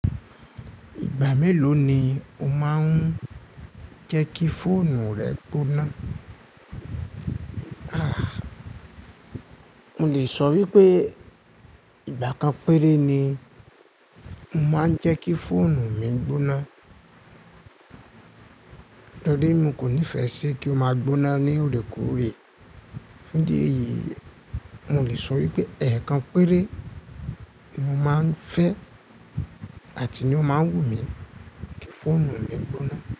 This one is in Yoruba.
Ìgbà mélòó ni o máa ń jẹ́ kí fóònù rẹ gbóná? Aà! Mo lè sọ wípé ìgbà kan péré ni mo máa ń jẹ́ kí fóònù mi gbóná torí mo kò nífẹ̀ẹ́ sí kí ó máa gbóná ní orekoorè. Fun idi eyi, mo lè sọ wípé ẹ̀ẹ̀kan péré ni mo máa ń fẹ́ àti ní ó máa wù mí kí fóònù mi gbóná.